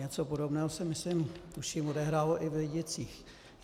Něco podobného se, myslím, tuším, odehrálo i v Lidicích.